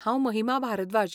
हांव महिमा भारद्वाज